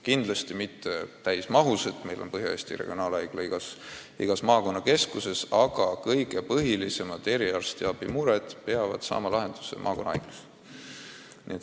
Kindlasti mitte täismahus, nii et meil on Põhja-Eesti Regionaalhaigla moodi asutus igas maakonnakeskuses, aga kõige põhilisemad eriarsti kompetentsi kuuluvad mured peavad saama lahenduse maakonnahaiglas.